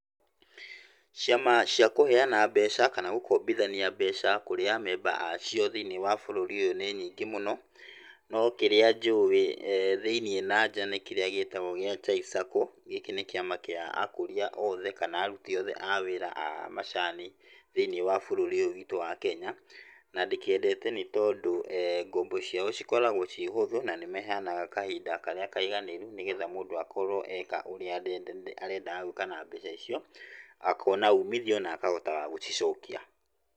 Ciama ciakũheana mbeca kana gũkombithania mbeca kũrĩ amemba acio thĩiniĩ wa bũrũri ũyũ nĩ nyingĩ mũno, no kĩrĩa njũĩ thĩiniĩ na nja nĩ kĩrĩa gĩtagwo gĩa Chai sacco. Gĩkĩ nĩ kĩama kĩa akũria othe, kana arũti othe a wĩra a macani thĩiniĩ wa bũrũri ũyũ witũ wa Kenya. Na ndĩkĩendete, nĩ tondũ ngombo ciao cikoragwo ciĩ hũthũ na nĩ maheanaga kahinda karĩa kaiganĩru, nĩgetha mũndũ akorwo eka ũrĩa arendaga gwĩka na mbeca icio, akona umithio na akahotaga gũcicokia.